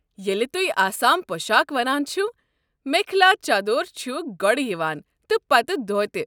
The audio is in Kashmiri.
ییٚلہِ تُہۍ آسام پۄشاكھ ونان چھِوٕ میخلا چادور چھُ گۄڈٕ یوان تہٕ پتہٕ دھوتہ۔